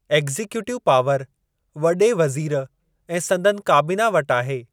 Executive power वॾे वज़ीर ऐं संदनि काबीना वटि आहे।